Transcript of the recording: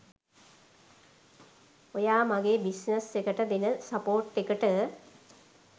ඔයා මගේ බිස්නස් එකට දෙන සපෝට් එකට.